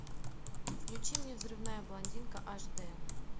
включи мне взрывная блондинка аш д